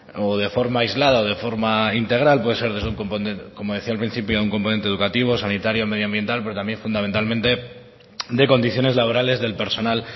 o de forma aislada o de forma integral pues como decía al principio es un componente educativa sanitario medioambiental pues también es fundamentalmente de las condiciones laborales del personal